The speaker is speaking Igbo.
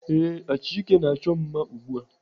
Ee, Achike na-achọ m mma ugbu a.